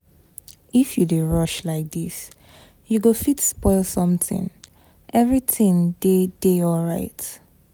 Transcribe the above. If you dey rush like dis you go fit spoil something. Everything dey dey alright.